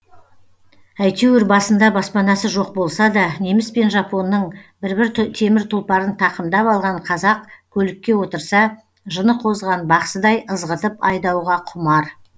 әйтеуір басында баспанасы жоқ болса да неміс пен жапонның бір бір темір тұлпарын тақымдап алған қазақ көлікке отырса жыны қозған бақсыдай ызғытып айдауға құмар